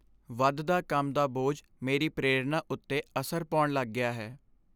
ਵਧਦਾ ਕੰਮ ਦਾ ਬੋਝ ਮੇਰੀ ਪ੍ਰੇਰਣਾ ਉੱਤੇ ਅਸਰ ਪਾਉਣ ਲੱਗ ਗਿਆ ਹੈ।